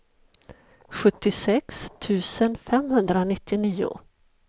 sjuttiosex tusen femhundranittionio